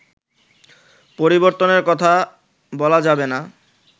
পরিবর্তনের কথা বলা যাবে না